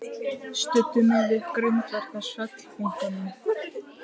Studdi mig við grindverk á svellbunkanum.